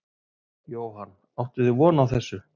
Jóhann: Áttuð þið von á þessu?